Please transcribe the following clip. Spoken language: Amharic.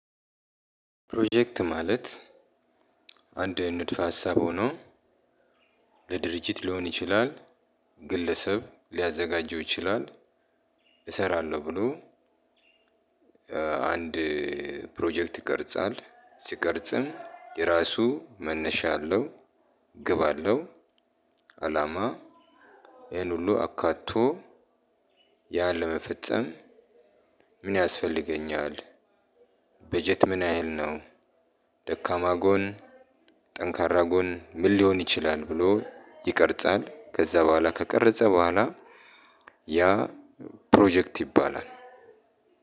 ፕሮጀክት ማለት አንድ ንድፍ ሀሳብ ሆኖ ለድርጅት ሊሆን ይችላል ግለሰብ ሊያዘጋጀው ይችላል እሰራለሁ ብሎ አንድ ፕሮጀክት ይቀርጻል ሲቀርጽም የራሱ መነሻ አለው። ግብ አለው። አላማ ይሄን ሁሉ አካቶ ያለመፈጸም ምን ያስፈልገኛል? በጀት ምን ያህል ነው? ደካማ ጎን፣ ጠንካራ ጎን ምን ሊሆን ይችላል? ብሎ ይቀርጻል። ከዛ በኋላ ከቀረጸ በኋላ ያ ፕሮጀክት ይባላል።